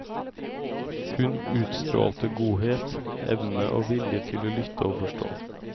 Hun utstrålte godhet, evne og vilje til å lytte og forstå.